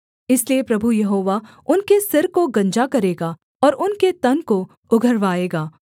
इसलिए प्रभु यहोवा उनके सिर को गंजा करेगा और उनके तन को उघरवाएगा